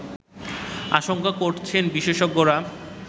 আশঙ্কা করছেন বিশেষজ্ঞরা